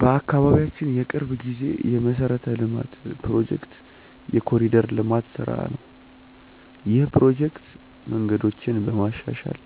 በአካባቢያችን የቅርብ ጊዜ የመሠረተ ልማት ፕሮጀክት የ“ኮሪደር ልማት” ስራ ነው። ይህ ፕሮጀክት መንገዶችን በማሻሻል፣